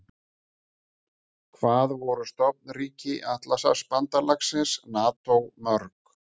Hvað voru stofnríki Atlantshafsbandalagsins NATO mörg?